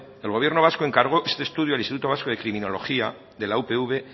el gobierno vasco encargó este estudio al instituto vasco de criminología de la upv